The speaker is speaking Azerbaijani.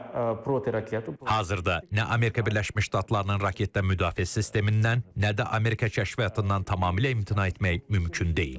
Hazırda nə Amerika Birləşmiş Ştatlarının raketdən müdafiə sistemindən, nə də Amerika kəşfiyyatından tamamilə imtina etmək mümkün deyil.